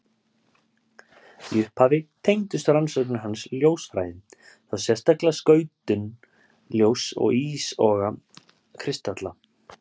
Í upphafi tengdust rannsóknir hans ljósfræði, þá sérstaklega skautun ljóss og ísogi kristalla.